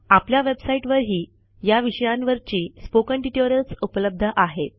आपल्या वेबसाईटवरही या विषयांवरची स्पोकन ट्युटोरियल्स उपलब्ध आहेत